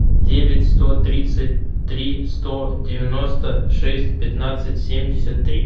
девять сто тридцать три сто девяносто шесть пятнадцать семьдесят три